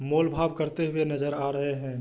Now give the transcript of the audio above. मोल-भाव करते हुए नजर आ रहें हैं।